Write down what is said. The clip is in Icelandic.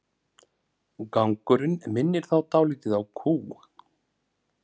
Gangurinn minnir þá dálítið á kú.